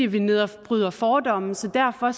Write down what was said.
vi nedbryder fordomme så derfor